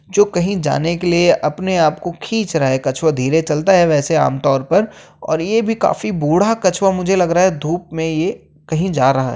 जो कही जाने के लिए अपने आप को खीच रहा है। कछुआ धीरे चलता है वैसे आम तौर पर और ये भी काफी बूढ़ा कछुवा। मुझे लग रहा है धूप में ये कही जा रहा है।